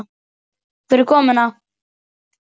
Takk fyrir komuna.